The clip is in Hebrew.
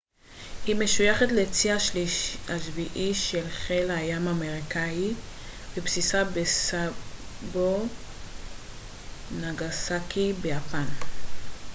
היא משויכת לצי השביעי של חיל הים האמריקאי ובסיסה בסאסבו נגאסאקי ביפן